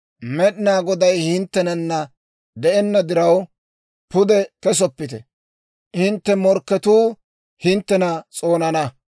Med'inaa Goday hinttenana de'enna diraw, pude kesoppite; hintte morkketuu hinttena s'oonana.